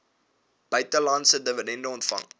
buitelandse dividende ontvang